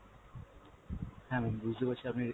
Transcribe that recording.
হ্যাঁ ma'am বুঝতে পারছি আপনি রে~